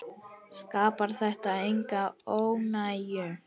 Skapar þetta enga óánægju?